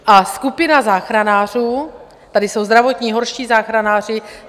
A skupina záchranářů, tady jsou zdravotní, horští záchranáři...